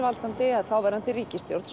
að þáverandi ríkisstjórn